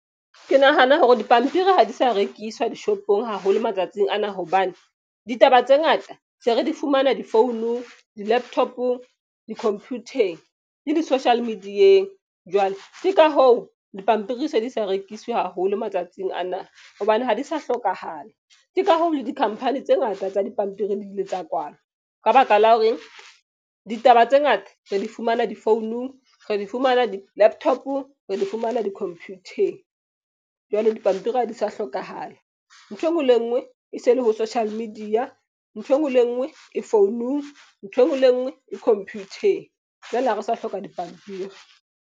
Ke nahana hore dipampiri ha di sa rekiswa di-shop-ong haholo matsatsing ana. Hobane ditaba tse ngata se re di fumana di founung, di-laptop-ong, dikhomphutheng le di-social media-eng. Jwale ke ka hoo, dipampiri se di sa rekiswe haholo matsatsing ana hobane ha di sa hlokahala. Ke ka hoo, le di-company tse ngata tsa dipampiri di ile tsa kwalwa ka baka la hore ditaba tse ngata re di fumana di founung, re di fumana di-laptop-ong, re di fumana dikhomphutheng. Jwale dipampiri ha di sa hlokahala. Nthwe e nngwe le e nngwe, e se le ho social media, nthwe e nngwe le e nngwe e founung, ntho e nngwe le e nngwe e khomphutheng. Jwale ha re sa hloka dipampiri.